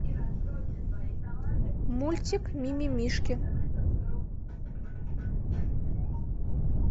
мультик мимимишки